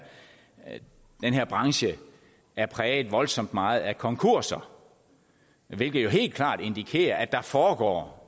branche er præget voldsomt meget af konkurser hvilket jo helt klart indikerer at der foregår